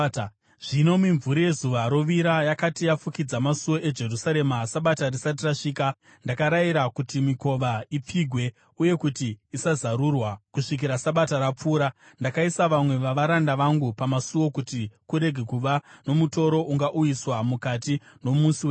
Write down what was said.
Zvino mimvuri yezuva rovira yakati yafukidza masuo eJerusarema, Sabata risati rasvika, ndakarayira kuti mikova ipfigwe uye kuti isazarurwa kusvikira Sabata rapfuura. Ndakaisa vamwe vavaranda vangu pamasuo kuti kurege kuva nomutoro ungauyiswa mukati nomusi weSabata.